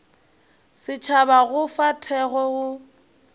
setšhaba go fa thekgo go